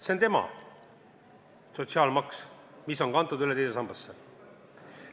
See 4% on tema sotsiaalmaks, mis on kantud üle teise sambasse.